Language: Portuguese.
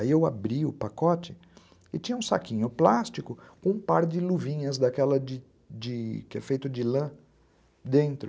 Aí eu abri o pacote e tinha um saquinho plástico com um par de de de luvinhas daquela que é feita de lã dentro.